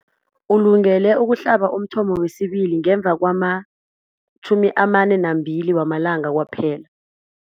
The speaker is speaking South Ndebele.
Ulungele ukuhlaba umthamo wesibili ngemva kwama-42 wamalanga kwaphela.